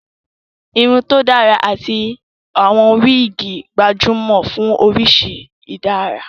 Irun tó dára àti àwọn wíìgì gbajúmọ̀ fún oríṣi ìdárà